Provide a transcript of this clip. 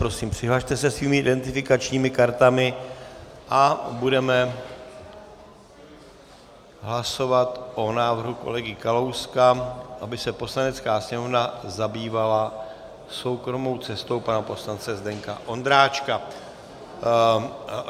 Prosím, přihlaste se svými identifikačními kartami a budeme hlasovat o návrhu kolegy Kalouska, aby se Poslanecká sněmovna zabývala soukromou cestou pana poslance Zdeňka Ondráčka.